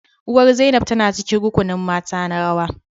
Uwar Zainab tana cikin rukunin mata na rawa